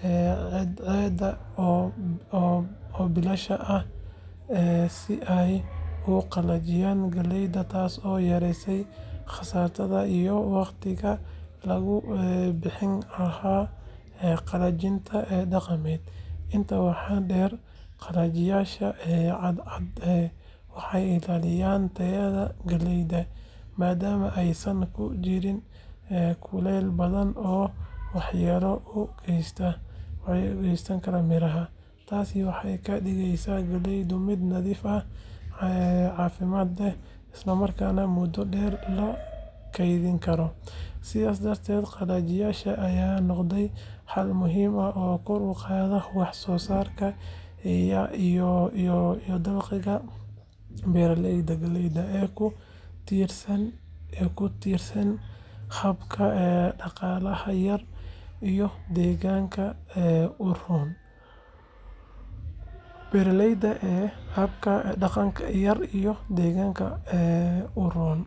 cadceedda oo bilaash ah si ay u qalajiyaan galleyda, taasoo yareyneysa kharashka iyo waqtiga lagu bixin lahaa qalajinta dhaqameed. Intaa waxaa dheer, qalajiyayaasha cadceedda waxay ilaalinayaan tayada galleyda, maadaama aysan ku jirin kulayl daran oo waxyeello u geysan kara miraha. Taasi waxay ka dhigeysaa galleyda mid nadiif ah, caafimaad leh, isla markaana muddo dheer la kaydin karo. Sidaas darteed, qalajiyaashan ayaa noqday xal muhiim ah oo kor u qaada wax soo saarka iyo dakhliga beeralayda galleyda ee ku tiirsan habka dhaqaalaha yar iyo deegaanka u roon.